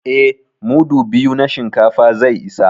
Eh, mudu biyu na shinkafa zai isa